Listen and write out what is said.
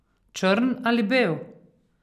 Črn ali bel?